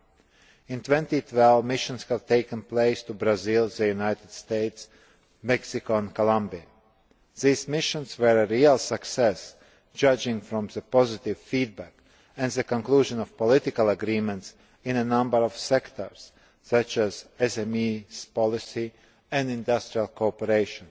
In 2012 missions have taken place to Brazil, the United States, Mexico and Colombia. These missions have been a real success, judging from the positive feedback and the conclusion of political agreements in a number of sectors such as SME policy and industrial cooperation.